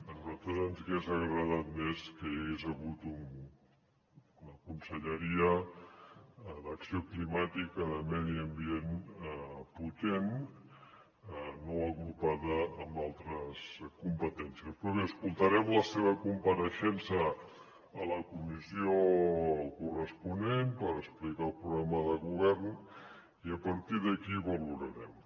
a nosaltres ens hagués agradat més que hi hagués hagut una conselleria d’acció climàtica i de medi ambient potent no agrupada amb altres competències però bé escoltarem la seva compareixença a la comissió corresponent per explicar el programa de govern i a partir d’aquí valorarem